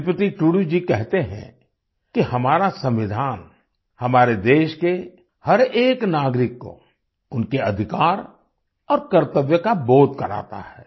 श्रीपति टूडू जी कहते हैं कि हमारा संविधान हमारे देश के हर एक नागरिक को उनके अधिकार और कर्तव्य का बोध कराता है